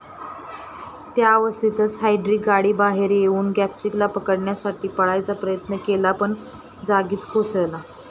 त्याअवस्थेतच Heydrich गाडीबाहेर येऊन गॅबचिकला पकडण्यासाठी पळायचा प्रयत्न केला, पण जागीच कोसळला.